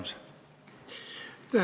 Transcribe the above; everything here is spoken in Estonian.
Aitäh!